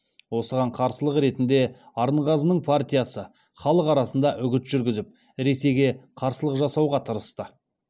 осыған қарсылық ретінде арынғазының партиясы халық арасында үгіт жүргізіп ресейге қарсылық жасауға тырысты